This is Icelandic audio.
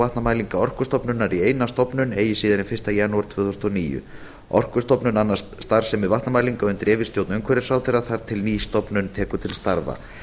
vatnamælinga orkustofnunar í eina stofnun eigi síðar en fyrsta janúar tvö þúsund og níu orkustofnun annast starfsemi vatnamælinga undir yfirstjórn umhverfisráðherra þar til ný stofnun tekur til starfa